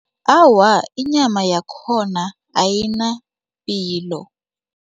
Awa, inyama yakhona ayinapilo.